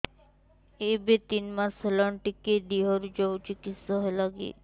ଏବେ ତିନ୍ ମାସ ହେଇଛି ଟିକିଏ ଦିହରୁ ଯାଉଛି କିଶ ହେଲାକି